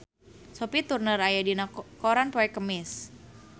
Sophie Turner aya dina koran poe Kemis